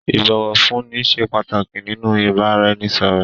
Ìbọ̀wọ̀fúnni ṣé pàtàkì nínú ìbáraẹnisọ̀rọ̀.